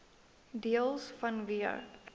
deels vanweë